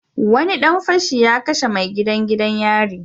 Wani dan fashi ya kashe mai gadin gidan yari